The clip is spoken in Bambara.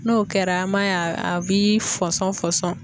N'o kɛra an b'a ye a bi fɔsɔn fɔsɔn.